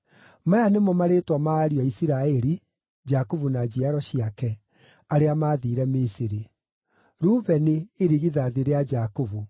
Maya nĩmo marĩĩtwa ma ariũ a Isiraeli (Jakubu na njiaro ciake) arĩa maathiire Misiri: Rubeni irigithathi rĩa Jakubu.